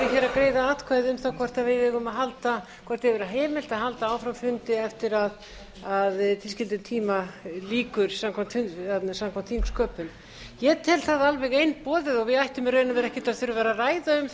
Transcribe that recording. greiða atkvæði um það hvort við eigum að halda áfram fundi eftir að tilskildum tíma lýkur samkvæmt þingsköpum ég tel það alveg einboðið og við ættum í raun og veru ekkert að þurfa að vera